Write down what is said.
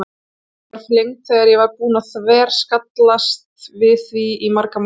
Ég var flengd þegar ég var búin að þverskallast við því í marga mánuði.